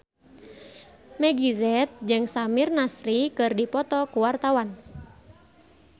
Meggie Z jeung Samir Nasri keur dipoto ku wartawan